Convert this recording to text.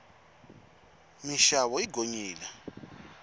minxavo yi gonyile